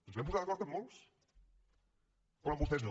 ens vam posar d’acord amb molts però amb vostès no